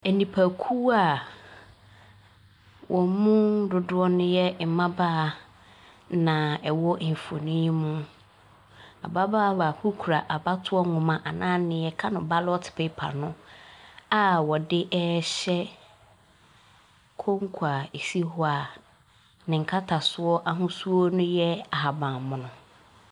Nnipakuo wɔn mu dodoɔ no ya mmabaawa na ɛwɔ mfonin yi mu. Ababaawa baako kura abatoɔ nwoma anaa deɛ yɛka ballot paper no a ɔde ɛrehyɛ konko a ɛsi hɔ a ne nkatsoɔ ahosuo no yɛ ahabanmono.